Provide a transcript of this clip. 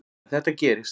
En þetta gerist.